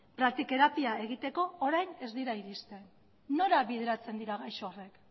praktiterapia egiteko orain ez dira irizten nora bideratzen dira gaixo horiek